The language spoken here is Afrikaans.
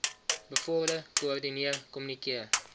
bevorder koördineer kommunikeer